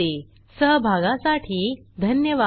160सहभागासाठी धन्यवाद